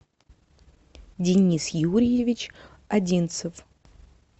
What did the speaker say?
денис юрьевич одинцев